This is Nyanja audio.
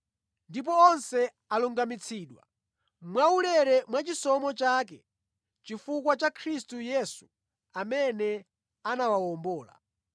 ndipo onse alungamitsidwa mwaulere mwa chisomo chake chifukwa cha Khristu Yesu amene anawawombola.